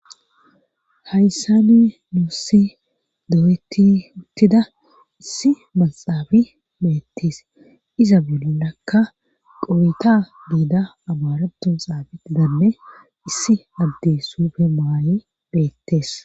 hayssani nuussi doweti uttida issi maxaabi beettis iza bulolakka qowita diida abaratun xaabi didanne issi addes sufe maayi beettees